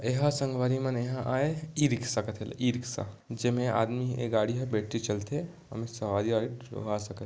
ये ह संगवारी मन ये ह आए ई रिक्शा कथे एला ई रिक्शा जेमे आदमी ये गाड़ी ह बैटरी से चलथे ओमे सवारी - आवरी --